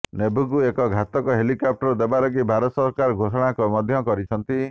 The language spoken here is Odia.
ନେଭିକୁ ଏହି ଘାତକ ହେଲିକପ୍ଟର ଦେବା ଲାଗି ଭାରତ ସରକାର ଘୋଷଣା ମଧ୍ୟ କରିଛନ୍ତି